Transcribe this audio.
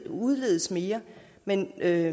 udledes mere men jeg